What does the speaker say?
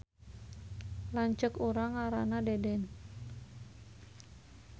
Lanceuk urang ngaranna Deden